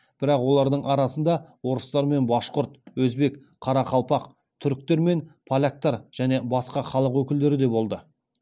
бірақ олардың арасында орыстар мен башқұрт өзбек қарақалпақ түрікмен поляктар және басқа халық өкілдері де болды